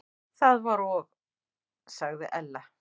Það var og sagði Ella.